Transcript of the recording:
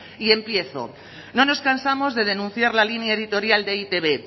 y empiezo no nos cansamos de denunciar la línea editorial de e i te be